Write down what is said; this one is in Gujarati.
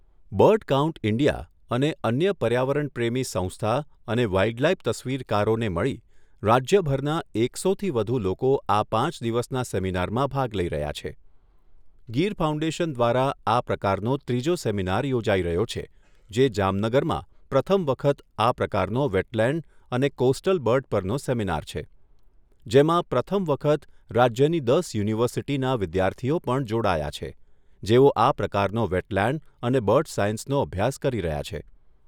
બર્ડ કાઉન્ટ ઇન્ડિયા અને અન્ય પર્યાવરણ પ્રેમી સંસ્થા અને વાઈલ્ડલાઈફ તસ્વીરકારોને મળી રાજ્યભરના એકસોથી વધુ લોકો આ પાંચ દિવસના સેમિનારમાં ભાગ લઈ રહ્યા છે. ગીર ફાઉન્ડેશન દ્વારા આ પ્રકારનો ત્રીજો સેમિનાર યોજાઈ રહ્યો છે જે જામનગરમાં પ્રથમ વખત આ પ્રકારનો વેટલેન્ડ અને કોસ્ટલ બર્ડ પરનો સેમિનાર છે જેમાં પ્રથમ વખત રાજ્યની દસ યુનિવર્સિટીના વિદ્યાર્થીઓ પણ જોડાયા છે જેઓ આ પ્રકારનો વેટલેન્ડ અને બર્ડ સાયન્સનો અભ્યાસ કરી રહ્યા છે.